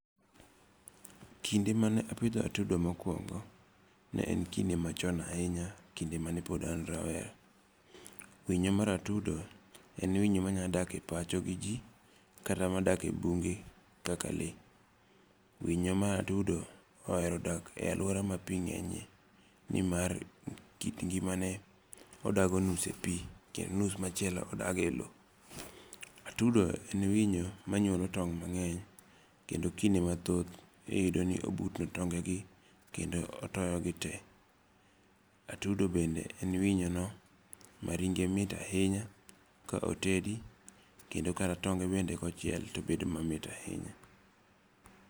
Kinde mane apidho atudo mokwongo ne en kinde machon ahinya kinde mane pod an rawera. Winyo mar atudo en winyo manya dak e pacho gi ji. Kata madak e bunge kaka lee. Winyo mar atudo ohero dak e aluora ma pi ng'enye nimar kit ngimane odago nus e pi kendo nus machielo odage lo. Atudo en winyo manyuolo tong' mang'eny. Kendo kinde mathoth iyudo ni obutno e tonge gi kendo otoyo gi te. Atudo bende en winyo no ma ringe mit ahinya ka otedi kendo kata tonge bende kochiel to bedo mamit ahinya.